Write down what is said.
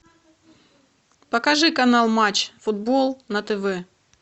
покажи канал матч футбол на тв